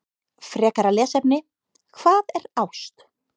Frekara lesefni: Hvað er ást?